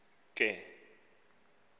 ke ngoku ikati